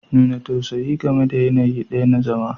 Nuna tausayi game da yanayi ɗaya na zama